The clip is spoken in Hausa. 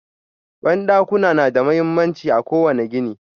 Bandakuna na da mahimmanci a ƙowane gini